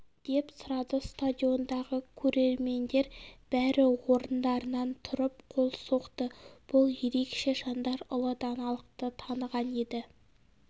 деп сұрады стадиондағы көрермендер бәрі орындарынан тұрып қол соқты бұл ерекше жандар ұлы даналықты таныған еді